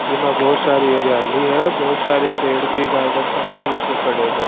जे माँ बहुत सारी हरयाली है बहुत सारे पेड़ भी गार्डन के अंदर लगे पड़े है।